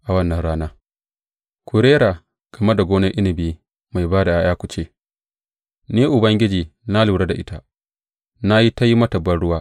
A wannan rana, Ku rera game da gonar inabi mai ba da ’ya’ya ku ce Ni, Ubangiji na lura da ita; na yi ta yin mata banruwa.